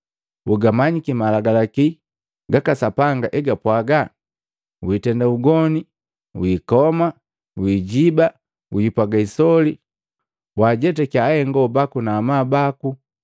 Ugamanyiki malagalaki gaka Sapanga egapwaga, ‘Witenda ugoni, wikoma, wijiiba, wiipwaga isoli, wajetakiya ahengo baku na amabu baku.’ ”